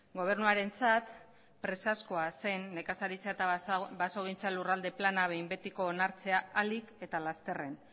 gobernuarentzat presazkoa zen nekazaritza eta basogintza lurralde plana behin betiko onartzea ahalik eta lasterren